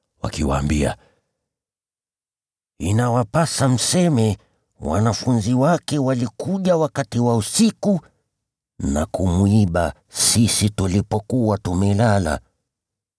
wakiwaambia, “Inawapasa mseme, ‘Wanafunzi wake walikuja wakati wa usiku na kumwiba sisi tulipokuwa tumelala.’